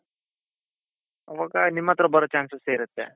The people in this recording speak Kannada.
ಅವಾಗ ನಿಮ್ ಹತ್ರ ಬರೋ chances ಇರುತ್ತೆ.